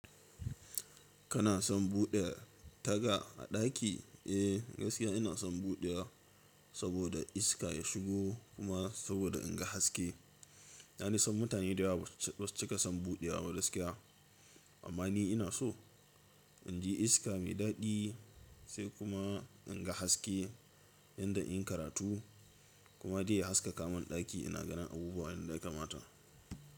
Kana son buɗe taga a daki? Eh, gaskiya ina son buɗewa saboda iska ya shigo kuma saboda in ga haske. Na san mutane da yawa ba su cika son buɗewa ba gaskiya amma ni ina so. In ji iska mai daɗi sai kuma in ga haske yadda zan iya yin karatu kuma dai ya haskaka min ɗaki ina ganin abubuwa yadda yakamata.